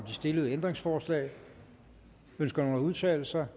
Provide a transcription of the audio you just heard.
de stillede ændringsforslag ønsker nogen at udtale sig